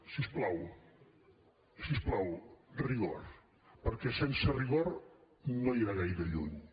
si us plau si us plau rigor perquè sense rigor no irà gaire lluny